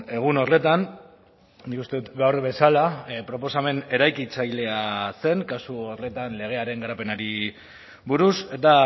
egun horretan nik uste dut gaur bezala proposamen eraikitzailea zen kasu horretan legearen garapenari buruz eta